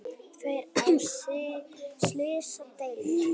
Tveir á slysadeild